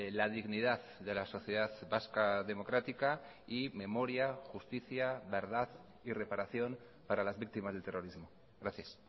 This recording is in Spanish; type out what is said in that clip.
la dignidad de la sociedad vasca democrática y memoria justicia verdad y reparación para las víctimas del terrorismo gracias